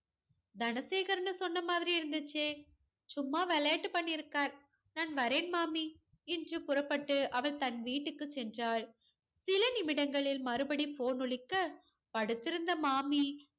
தனசேகர்னு சொன்ன மாதிரி இருந்துச்சே சும்மா விளையாட்டு பண்ணிருக்கார் நான் வரேன் மாமி என்று புறப்பட்டு அவன் தன் வீட்டுக்கு சென்றாள் சிலநிமிடங்களில் மறுபடியும் phone ஒலிக்க படுத்து இருந்த மாமி